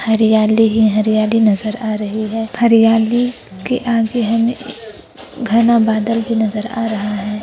हरियाली ही हरियाली नजर आ रही हैं हरियाली के आगे हमें एक घना बदल भी नजर आ रहा है।